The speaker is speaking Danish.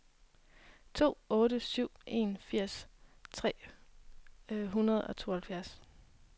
to otte syv en firs tre hundrede og tooghalvfjerds